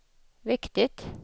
viktigt